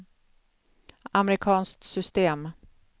amerikanskt system